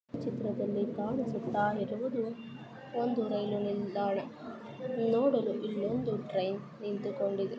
ಈ ಚಿತ್ರದಲ್ಲಿ ಕಾಣಿಸುತ್ತಾ ಇರುವುದು ಒಂದು ರೈಲು ನಿಲ್ದಾಣ ನೋಡಲು ಇಲ್ಲೊಂದು ಟ್ರೈನ್ ನಿಂತುಕೊಂಡಿದೆ.